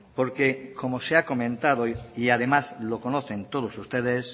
porque como se ha comentado y además lo conocen todos ustedes